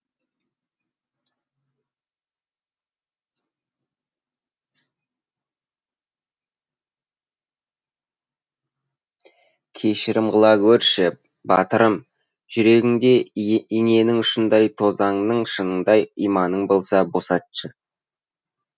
кешірім қыла гөр ш і батырым жүрегіңде иненің ұшындай тозаңның шанындай иманың болса босатшы